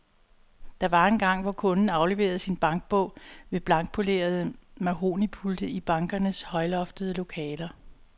Der var engang, hvor kunden afleverede sin bankbog ved blankpolerede mahognipulte i bankernes højloftede lokaler.